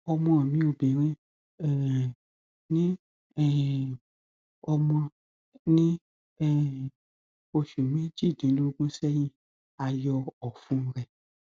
ọmọ mi obìnrin um ni um ọmọ ní um oṣù méjìdínlógún sẹyìn a yọ ọfun rẹ